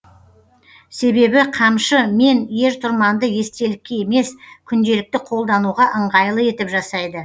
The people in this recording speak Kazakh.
себебі қамшы мен ер тұрманды естелікке емес күнделікті қолдануға ыңғайлы етіп жасайды